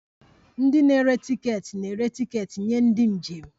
Ndị na-ere tiketi na-ere tiketi nye ndị njem